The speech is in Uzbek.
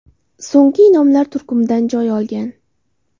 So‘nggi in’omlar” turkumidan joy olgan.